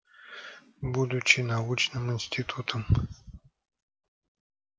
будучи научным институтом